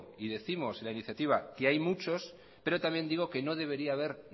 y décimos en la iniciativa que hay muchos pero también digo que no debería haber